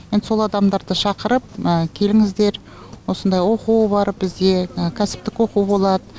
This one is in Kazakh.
енді сол адамдарды шақырып келіңіздер осындай оқу бар бізде кәсіптік оқу болады